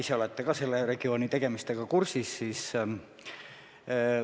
Te olete selle regiooni tegemistega hästi kursis.